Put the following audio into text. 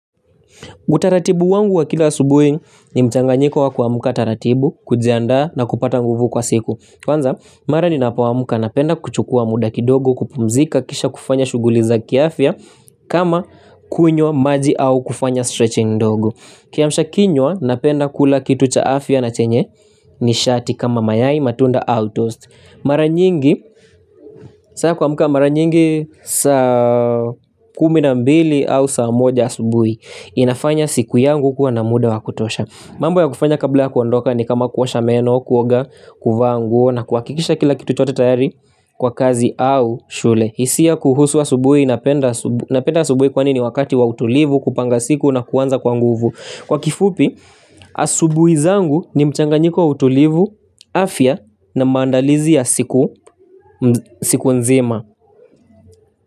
Utaratibu wangu wa kila subuhi ni mchanganyiko wa kuamka taratibu, kujiandaa na kupata nguvu kwa siku. Kwanza mara ninapoamka napenda kuchukua muda kidogo kupumzika kisha kufanya shughuli za kiafya kama kunywa maji au kufanya stretching ndogo. Kiamsha kinywa, napenda kula kitu cha afya na chenye nishati kama mayai, matunda au tost. Mara nyingi saa ya kuamka mara nyingi saa kumi na mbili au saa moja asubuhi. Inafanya siku yangu kuwa na muda wa kutosha. Mambo ya kufanya kabla ya kuondoka ni kama kuosha meno, kuoga, kuvaa nguo na kuhakikisha kila kitu chote tayari kwa kazi au shule. Hisia kuhusu asubui napenda asubuhi kwani ni wakati wa utulivu, kupanga siku na kuanza kwa nguvu. Kwa kifupi, asubuhi zangu ni mchanganyiko wa utulivu, afya na maandalizi ya siku nzima.